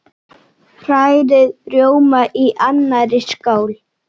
Hrærið rjóma í annarri skál.